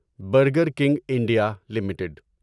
burger king India limited